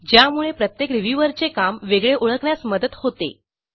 ज्यामुळे प्रत्येक रिव्ह्यूअरचे काम वेगळे ओळखण्यास मदत होते